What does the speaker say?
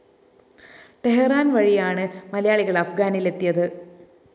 Tehran‍ വഴിയാണ് മലയാളികള്‍ അഫ്ഗാനിലെത്തിയത്